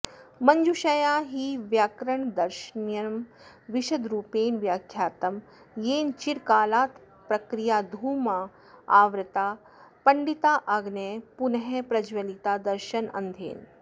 मञ्जूषया हि व्याकरणदर्शनं विशदरूपेण व्याख्यातं येन चिरकालात्प्रक्रियाधूमावृताः पण्डिताग्नयः पुनः प्रज्वलिता दर्शनेन्धनेन